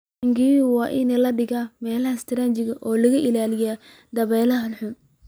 Taangiyada waa in la dhigaa meelo istiraatiiji ah oo laga ilaaliyo dabaylaha xooggan.